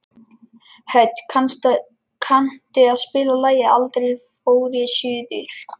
Hödd, kanntu að spila lagið „Aldrei fór ég suður“?